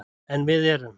En við erum